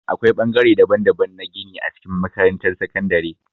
Akwai ɓangare daban-daban na gini a cikin makarantar sakandare.